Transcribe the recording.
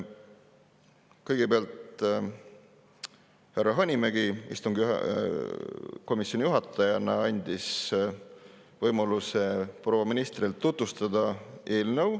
Kõigepealt andis härra Hanimägi komisjoni istungi juhatajana proua ministrile võimaluse eelnõu tutvustada.